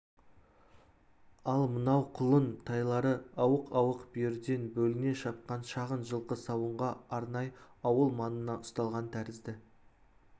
ал мынау құлын-тайлары ауық-ауық бүйірден бөліне шапқан шағын жылқы сауынға арнай ауыл маңына ұсталған тәрізді